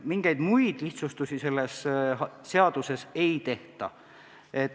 Mingeid muid lihtsustusi selles seaduses ei tehta.